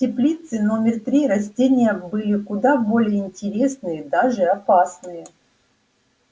в теплице номер три растения были куда более интересные даже опасные